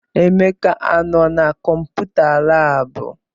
Emeka anọ na kọmputa laabụ?